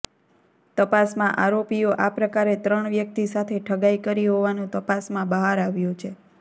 તપાસમાં આરોપીઓે આ પ્રકારે ત્રણ વ્યક્તિ સાથે ઠગાઈ કરી હોવાનું તપાસમાં બહાર આવ્યું છે